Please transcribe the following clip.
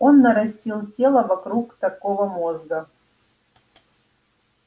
он нарастил тело вокруг такого мозга